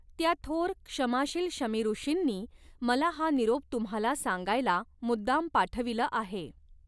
त्या थोर क्षमाशील शमीऋषींनी मला हा निरोप तुम्हाला सांगायला मुद्दाम पाठविलं आहे!